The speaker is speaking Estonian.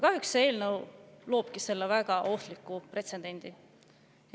Kõnealune eelnõu kahjuks loobki selle väga ohtliku pretsedendi.